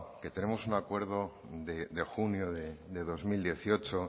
que tenemos un acuerdo de junio de dos mil dieciocho